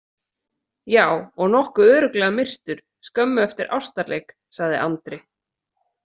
Já, og nokkuð örugglega myrtur skömmu eftir ástarleik, sagði Andri.